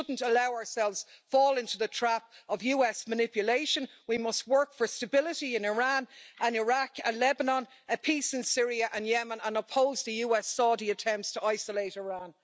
We should not allow ourselves to fall into the trap of US manipulation. We must work for stability in Iran and Iraq and Lebanon, and peace in Syria and Yemen and oppose the US-Saudi attempts to isolate Iran.